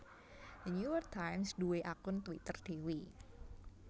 The New York Times duwe akun Twitter dewe